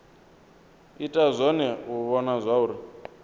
ita zwone u vhona zwauri